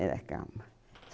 Era calma.